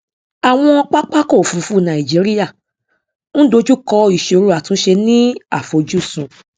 àwọn pápákọ òfurufú nàìjíríà ń dojú kọ ìsòro àtúnṣe ni àfojúsùn